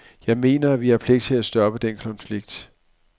Jeg mener, at vi har pligt til at stoppe den konflikt.